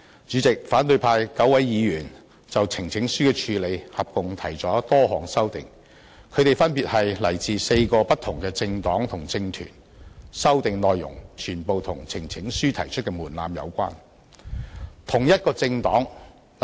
主席，反對派9位議員就呈請書的交付處理合共提出多項修訂，他們分別來自4個不同的政黨和政團，修訂內容全部與提交呈請書的門檻有關。